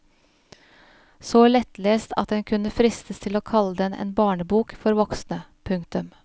Så lettlest at en kunne fristes til å kalle den en barnebok for voksne. punktum